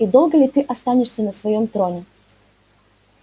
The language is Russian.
и долго ли ты останешься на своём троне